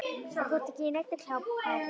Og þú ert ekki í neinni kápu.